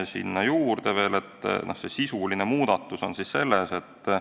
Selle juurde veel sisulisest muudatusest.